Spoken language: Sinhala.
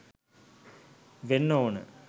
වෙන්න ඕනේ.